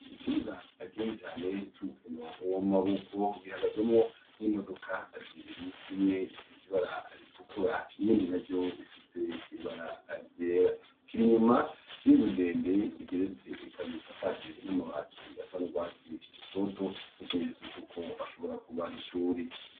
Ikibuga kinini cane c'umupira w'amaboko gihagazwemwo n'imodoka zibiri imwe ifise ibara ritukura iyindi nayo ifise ibata ryera kiri inyuma y'inzu ndende igeretse kandi isakaje amabati asa n'rwatsi rutoto ikimenyetso cuko ishobora kuba ari ishure.